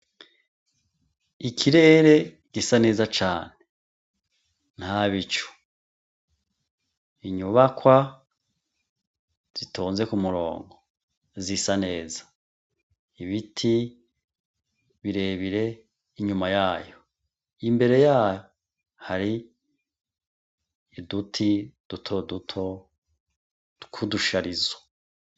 Ikirere gisa neza cane ntabicu; inyubakwa zitonze k'umurongo zisa neza; ibiti birebire inyuma yayo; imbere yayo hari uduti dutoduto tw'udusharizo.